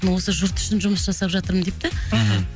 осы жұрт үшін жұмыс жасап жатырмын деп та мхм